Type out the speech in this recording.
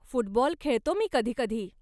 Football खेळतो मी कधीकधी.